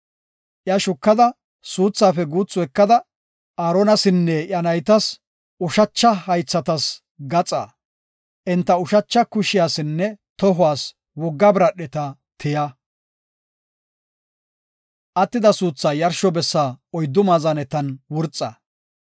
Iya shukada, suuthaafe guuthu ekada, Aaronasinne iya naytas ushacha haythatas gaxaa, enta ushacha kushiyasinne tohuwas wogga biradheta tiya. Attida suuthaa yarsho bessa oyddu maazanetan wurxa.